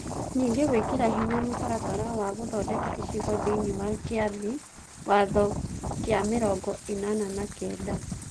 Ningĩ gwĩkĩra hinya mũtaratara wa gũthondeka icigo thĩinĩ wa Kĩambi Watho gĩa mĩrongo ĩnana na kenda,